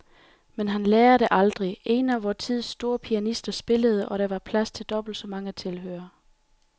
Men han lærer det aldrig. En af vor tids store pianister spillede, og der var plads til dobbelt så mange tilhørere.